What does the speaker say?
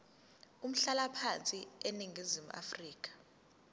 umhlalaphansi eningizimu afrika